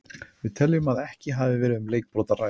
Við teljum að ekki hafi verið um leikbrot að ræða.